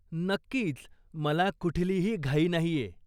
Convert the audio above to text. नक्कीच, मला कुठलीही घाई नाहीये.